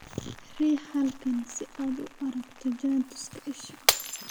Riix halkan si aad u aragto jaantuska isha